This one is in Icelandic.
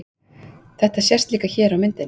Þetta sést líka hér á myndinni.